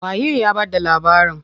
Waye ya bada labarin?